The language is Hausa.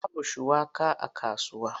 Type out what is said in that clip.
Babu shuwaka a kasuwa.